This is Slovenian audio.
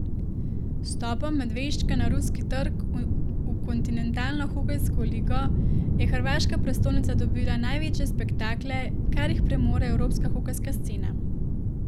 Z vstopom Medveščaka na ruski trg v kontinentalno hokejsko ligo je hrvaška prestolnica dobila največje spektakle, kar jih premore evropska hokejska scena.